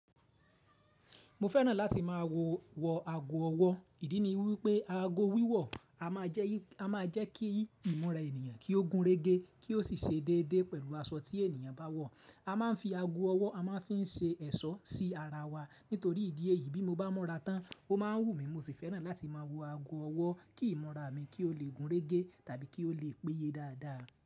Mo fẹ́ràn láti máa wọ wo ago ọwọ́. Ìdí ni wípé ago wíwọ̀ a máa jẹ́ kí ìmúra ènìyàn kí ó gun réé gé, kí ó sì ṣe déédé pẹ̀lú aṣọ tí ènìyàn bá wọ̀. A máa ń fi ago ọwọ́, a máa ń fi ń ṣe ẹ̀ṣọ́ sí ara wa. Nítorí ìdí èyí bí mo bá múra tán, ó máa ń wù mí. Mo sì fẹ́ràn láti mo ago ọwọ́ kí ìmúra mi kí ó le gun réegé tàbí kí ó le péye dáadáa.